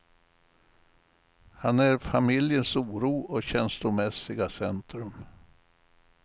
Han är familjens oro och känslomässiga centrum.